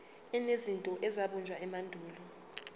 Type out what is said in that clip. enezinto ezabunjwa emandulo